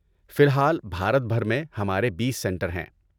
فی الحال، بھارت بھر میں ہمارے بیس سنٹر ہیں